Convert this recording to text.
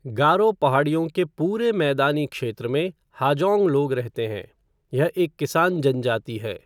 गारो पहाड़ियों के पूरे मैदानी क्षेत्र में हाजॉन्ग लोग रहते हैं, यह एक किसान जनजाति है।